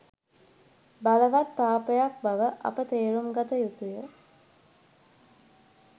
බලවත් පාපයක් බව අප තේරුම් ගත යුතුය